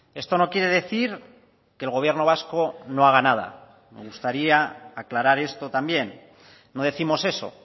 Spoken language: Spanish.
esto no quiere decir que el gobierno vasco no haga nada me gustaría aclarar esto también no décimos eso